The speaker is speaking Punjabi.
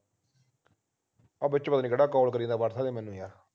ਆਹ ਵਿੱਚ ਪਤਾ ਨਹੀਂ ਕਿਹੜਾ call ਕਰੀ ਜਾਂਦਾ ਆ whatsapp ਤੇ ਮੈਨੂੰ ਯਾਰ